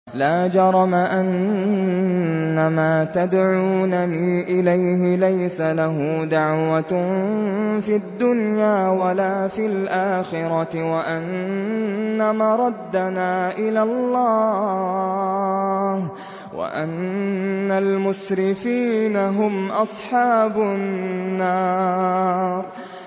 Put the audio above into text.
لَا جَرَمَ أَنَّمَا تَدْعُونَنِي إِلَيْهِ لَيْسَ لَهُ دَعْوَةٌ فِي الدُّنْيَا وَلَا فِي الْآخِرَةِ وَأَنَّ مَرَدَّنَا إِلَى اللَّهِ وَأَنَّ الْمُسْرِفِينَ هُمْ أَصْحَابُ النَّارِ